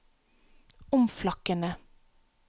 omflakkende